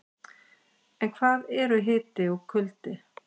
En hvað eru hiti og kuldi?